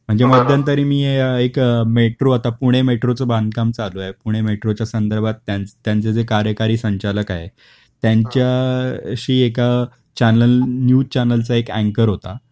म्हणजे मध्यंतरी मी एक मेट्रो, आता पुणे मेट्रोच बांधकाम चालू आहे, पुणे मेट्रोच्या संदर्भात त्यांच त्यांचे जे कार्यकारी संचालक आहे, त्यांच्याशी एका चॅनल, न्यूज चॅनलचा एक अँकर होता